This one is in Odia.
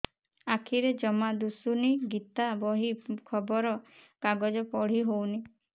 ଆଖିରେ ଜମା ଦୁଶୁନି ଗୀତା ବହି ଖବର କାଗଜ ପଢି ହଉନି